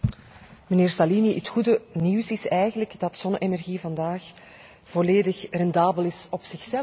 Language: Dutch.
Mijnheer Salini, het goede nieuws is eigenlijk dat zonne energie vandaag volledig rendabel is op zichzelf.